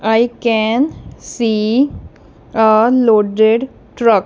i can see a loaded truck.